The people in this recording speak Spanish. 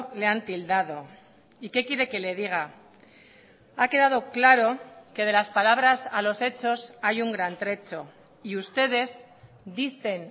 le han tildado y qué quiere que le diga ha quedado claro que de las palabras a los hechos hay un gran trecho y ustedes dicen